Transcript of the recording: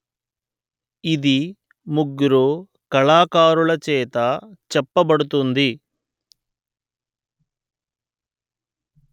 ఇది ముగ్గురు కళాకారులచేత చెప్పబడుతుంది